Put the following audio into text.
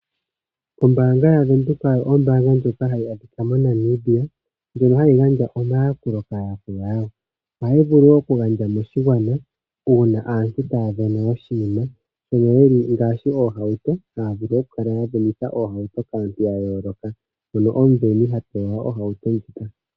Ombaanga yaVenduka oyo ombaanga ndjoka hayi adhika moNamibia ndjono hayi gandja omayakulo kaayakulwa yawo. Ohayi vulu oku gandja moshigwana uuna aantu taya vene oshinima ngaashi oohauto taya vulu oku kala ya venitha oohauto kaantu ya yooloka mono omuveni ha pewa ohauto ndjoka.